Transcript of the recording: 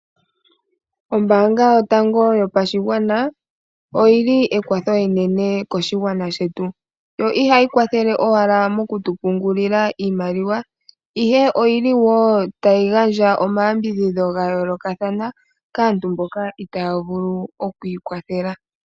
Ombaanga yotango yopashigwana oyi li ekwatho enene koshigwana shetu. Ihayi kwathele owala moku tu pungulila iimaliwa, ihe oyi li wo tayi gandja oma yambidhidho ga yoolokathana kaantu mboka itaya vulu oku ikwathela.